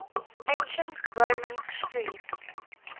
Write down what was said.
ancient roman street